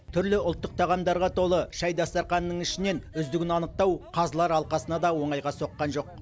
түрлі ұлттық тағамдарға толы шай дастарханының ішінен үздігін анықтау қазылар алқасына да оңайға соққан жоқ